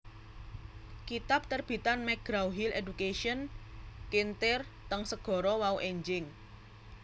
kitab terbitan McGraw Hill Education kintir teng segara wau enjing